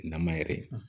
Nama yɛrɛ